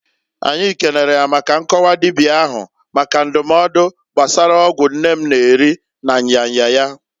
Anyi kenere ya maka nkọwa dibia ahu maka ndụmọdụ gbasara ọgwụ nne m na-eri na nya nya ya.